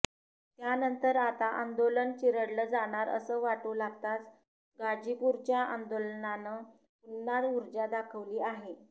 त्यानंतर आता आंदोलन चिरडलं जाणार असं वाटू लागताच गाजीपूरच्या आंदोलनानं पुन्हा उर्जा दाखवली आहे